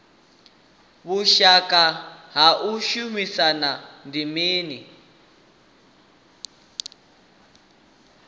vhushaka ha u shumisana ndi mini